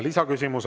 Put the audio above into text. Lisaküsimus.